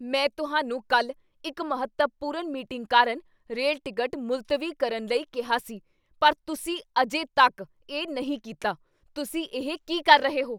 ਮੈਂ ਤੁਹਾਨੂੰ ਕੱਲ੍ਹ ਇੱਕ ਮਹੱਤਵਪੂਰਨ ਮੀਟਿੰਗ ਕਾਰਨ ਰੇਲ ਟਿਕਟ ਮੁਲਤਵੀ ਕਰਨ ਲਈ ਕਿਹਾ ਸੀ ਪਰ ਤੁਸੀਂ ਅਜੇ ਤੱਕ ਇਹ ਨਹੀਂ ਕੀਤਾ, ਤੁਸੀਂ ਇਹ ਕੀ ਕਰ ਰਹੇ ਹੋ?